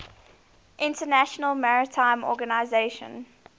international maritime organization